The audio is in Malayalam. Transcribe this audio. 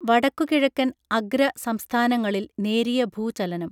വടക്കു കിഴക്കൻ അഗ്ര സംസ്ഥാനങ്ങളിൽ നേരിയ ഭൂചലനം